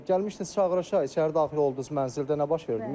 Gəlmişdiniz çağırışa, içəri daxil oldunuz, mənzildə nə baş verdi?